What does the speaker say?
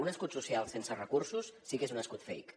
un escut social sense recursos sí que és un escut fake